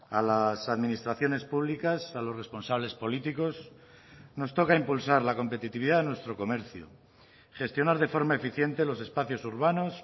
a las administraciones públicas a los responsables políticos nos toca impulsar la competitividad de nuestro comercio gestionar de forma eficiente los espacios urbanos